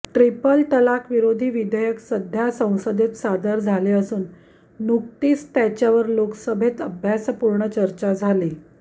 triple तलाक विरोधी विधेयक सध्या संसदेत सादर झाले असून नुकतीच त्याच्यावर लोकसभेत अभ्यासपूर्ण चर्चा झाली